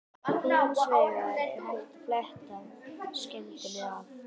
Hins vegar er hægt að fletta skemmdinni af.